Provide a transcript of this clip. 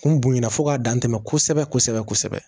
Kun bonya fo k'a dantɛmɛ kosɛbɛ kosɛbɛ